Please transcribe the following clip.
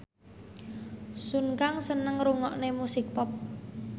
Sun Kang seneng ngrungokne musik pop